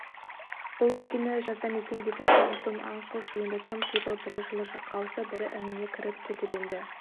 бұл өлкені жазда мекендейтін там-тұм аң-құс енді тып типыл бірі жылы жаққа ауса бірі ініне кіріп кетіп енді